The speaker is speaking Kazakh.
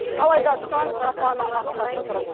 алайда сан сапаны ақсатып тұр